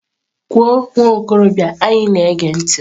Kwuo nwa okorobịa anyị na-ege ntị!.